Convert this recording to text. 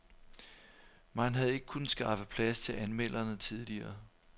Man havde ikke kunnet skaffe plads til anmelderne tidligere.